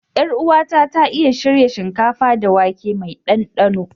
Yaruwa na ya iya shirya shinkafa da wake mai danɗano.